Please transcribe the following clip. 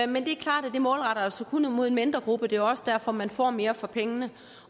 men det er klart at det målretter sig kun imod en mindre gruppe og det er også derfor man får mere for pengene